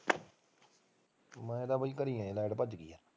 ਮੈਂ ਤਾਂ ਬਾਈ ਘਰੀ ਐ ਹਲੇ ਤਾਂ।